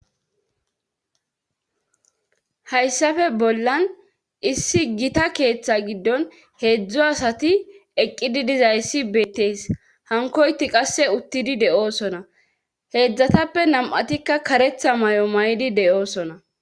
hayssafe bollan issi gita keeththa giddon heedzdzu asati eqqidi dizayssi beetteys hankoyti qasse uttidi de7oosona heedzdzatappe nam7atikka karetha may7o may7di de7oosona